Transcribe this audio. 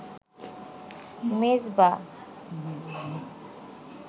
Mezba.